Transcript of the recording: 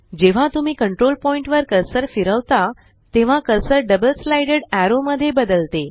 जेव्हा तुम्ही control point वर कर्सर फिरवता तेव्हा कर्सर डबल साइडेड एरो मध्ये बदलते